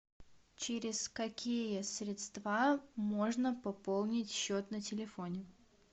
через какие средства можно пополнить счет на телефоне